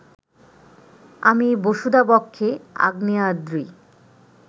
আমি বসুধা-বক্ষে আগ্নেয়াদ্রি